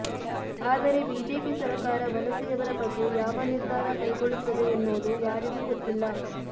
ಆದರೆ ಬಿಜೆಪಿ ಸರಕಾರ ವಲಸೆಯವರ ಬಗ್ಗೆ ಯಾವ ನಿರ್ಧಾರ ಕೈಗೊಳ್ಳುತ್ತದೆ ಎನ್ನುವುದು ಯಾರಿಗೂ ಗೊತ್ತಿಲ್ಲ